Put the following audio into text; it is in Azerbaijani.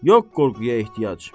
Yox qorxuya ehtiyac.